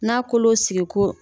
N'a kolo sigiko